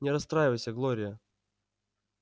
не расстраивайся глория